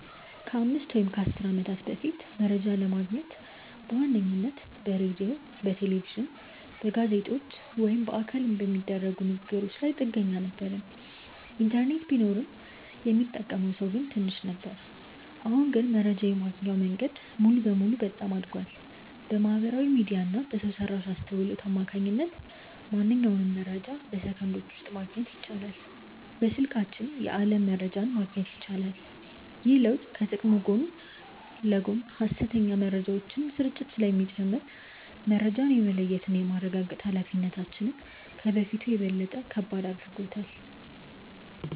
ከአምስት ወይም ከአሥር ዓመታት በፊት መረጃ ለማግኘት በዋነኝነት በሬዲዮ፣ በቴሌቪዥን፣ በጋዜጦች ወይም በአካል በሚደረጉ ንግ ግሮች ላይ ጥገኛ ነበርን። ኢንተርኔት ቢኖርም ሚጠቀመው ሰው ትንሽ ነበር። አሁን ግን መረጃ የማግኛው መንገድ ሙሉ በሙሉ በጣም አድጓል። በማህበራዊ ሚዲያ እና በሰው ሰራሽ አስውሎት አማካኝነት ማንኛውንም መረጃ በሰከንዶች ውስጥ ማግኘት ይቻላል። በስልካችን የዓለም መረጃን ማግኘት ይቻላል። ግን ይህ ለውጥ ከጥቅሙ ጎን ለጎን የሐሰተኛ መረጃዎች ስርጭትን ስለሚጨምር፣ መረጃን የመለየትና የማረጋገጥ ኃላፊነታችንን ከበፊቱ በበለጠ ከባድ አድርጎታል።